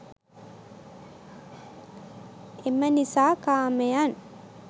එම නිසා කාමයන්